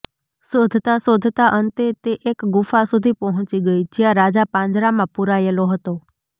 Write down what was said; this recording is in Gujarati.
શોધતાં શોધતાં અંતે તે એક ગુફા સુધી પહોંચી ગઈ જ્યાં રાજા પાંજરામાં પૂરાયેલો હતો